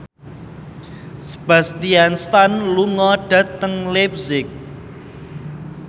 Sebastian Stan lunga dhateng leipzig